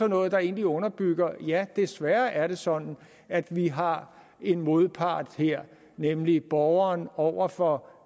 noget der egentlig underbygger at ja desværre er det sådan at vi har en modpart her nemlig borgeren over for